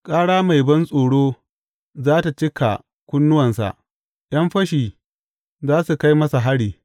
Ƙara mai bantsoro za tă cika kunnuwansa ’yan fashi za su kai masa hari.